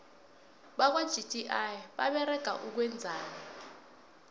bakwa gti baberega ukwenzani